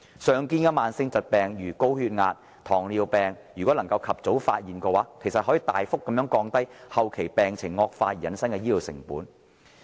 常見的慢性疾病，例如高血壓及糖尿病，如能及早發現，其實可大幅降低後期病情惡化而引致的醫療成本。